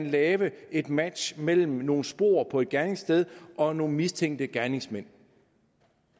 lave et match mellem nogle spor på et gerningssted og nogle mistænkte gerningsmænd